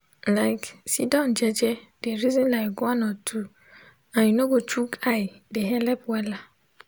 like sitdon jeje de reson like one or two and u nor go choke eye de helep wella